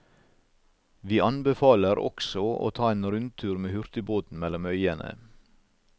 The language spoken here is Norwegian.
Vi anbefaler også å ta en rundtur med hurtigbåten mellom øyene.